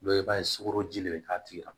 Dɔw b'a ye sugoroji de be k'a tigi la